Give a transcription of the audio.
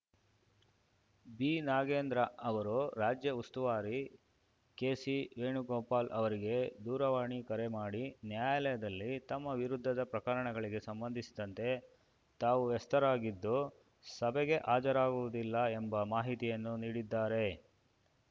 B Nagendra ಅವರು ರಾಜ್ಯ ಉಸ್ತುವಾರಿ ಕೆಸಿ ವೇಣುಗೋಪಾಲ್‌ ಅವರಿಗೆ ದೂರವಾಣಿ ಕರೆ ಮಾಡಿ ನ್ಯಾಯಾಲಯದಲ್ಲಿ ತಮ್ಮ ವಿರುದ್ಧದ ಪ್ರಕರಣಗಳಿಗೆ ಸಂಬಂಧಿಸಿದಂತೆ ತಾವು ವ್ಯಸ್ತರಾಗಿದ್ದು ಸಭೆಗೆ ಹಾಜರಾಗುವುದಿಲ್ಲ ಎಂಬ ಮಾಹಿತಿಯನ್ನು ನೀಡಿದ್ದಾರೆ